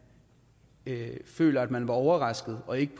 føler at man blev overrasket og ikke